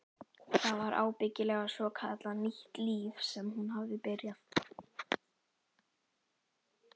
Það var ábyggilega svokallað nýtt líf sem hún hafði byrjað.